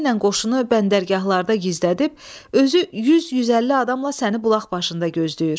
Gecəylə qoşunu bəndərgahlarda gizlədib, özü 100-150 adamla səni bulaq başında gözləyir.